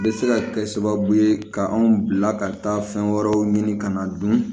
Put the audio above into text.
Bɛ se ka kɛ sababu ye ka anw bila ka taa fɛn wɛrɛw ɲini ka na dun